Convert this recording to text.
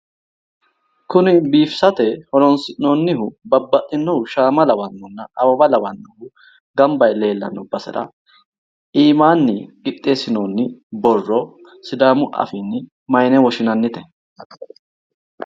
Kuni biifisate horoonsi'noonnihu babbaxxinohu shaama lawannohunna awawa lawannohu gamba yee leellanno basera iimaanni qixxeessinoonni borro sidaamu afiinni mayine woshshinannite?